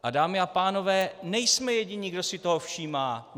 A dámy a pánové, nejsme jediní, kdo si toho všímá.